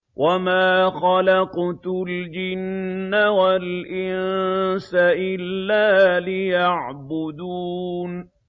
وَمَا خَلَقْتُ الْجِنَّ وَالْإِنسَ إِلَّا لِيَعْبُدُونِ